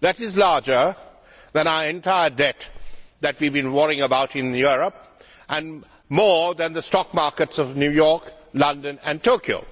That is larger than the entire debt that we have been worrying about in Europe and more than value of the stock markets in New York, London and Tokyo.